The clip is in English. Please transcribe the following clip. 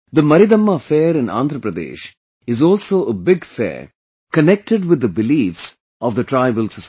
The Maridamma fair in Andhra Pradesh is also a big fair connected with the beliefs of the tribal society